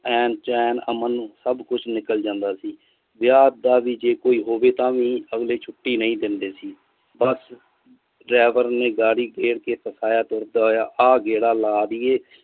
ਐਨ ਚੇਨ ਅਮਨ ਸਬ ਕੁਛ ਨਿਕਲ ਜਾਂਦਾ ਸੀ ਵਿਆਹ ਦਾ ਵੀ ਜੇ ਕੋਈ ਹੋਵੇ ਤਾਮਿ ਅਗਲੇ ਛੁੱਟੀ ਨਹੀਂ ਦਿੰਦੇ ਸੀ ਬਸ driver ਨੇ ਗੱਡੀ ਗਿਰ ਕਿ ਫਸਾਈ ਆ ਗੇੜਾ ਲਾ ਦੇਈਏ।